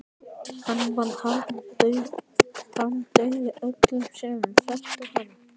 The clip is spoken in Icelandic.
Hann varð harmdauði öllum sem þekktu hann.